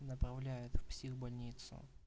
направляют в психбольницу